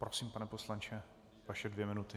Prosím, pane poslanče, vaše dvě minuty.